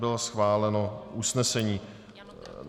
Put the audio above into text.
Bylo schváleno usnesení.